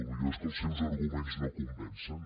potser és que els seus arguments no convencen